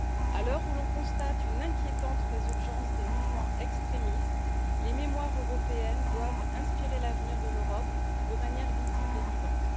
À l'heure où l'on constate une inquiétante résurgence des mouvements extrémistes, les mémoires européennes doivent inspirer l'avenir de l'Europe, de manière visible et vivante.